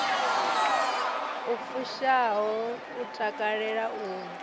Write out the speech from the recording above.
i fushaho u takalela u